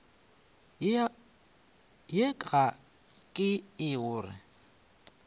ye ga ke re o